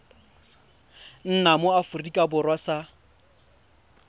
nna mo aforika borwa sa